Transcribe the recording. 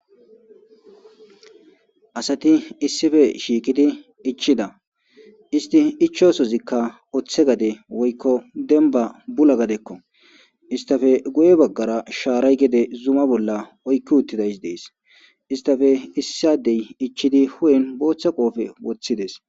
asati issife shiikidi ichida isti ichosozikka oththe gade woykko denba bula gadekko istafe guye baggara shaaray gede zuma bolla oykki uttidays dees istafe issadey ichchidi hu7en booththa qoofe woththides